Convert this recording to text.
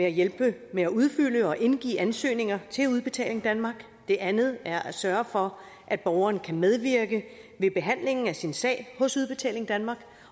at hjælpe med at udfylde og indgive ansøgning til udbetaling danmark det andet er at sørge for at borgeren kan medvirke ved behandlingen af sin sag hos udbetaling danmark